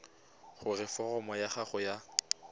gore foromo ya gago ya